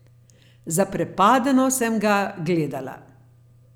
Zaprepadeno sem ga gledala.